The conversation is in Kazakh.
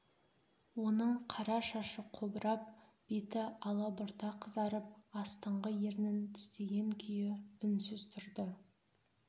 оның қара шашы қобырап беті алабұрта қызарып астыңғы ернін тістеген күйі үнсіз тұрды